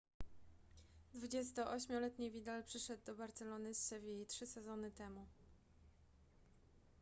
28-letni vidal przyszedł do barcelony z sewilli trzy sezony temu